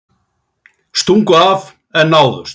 Stungu af en náðust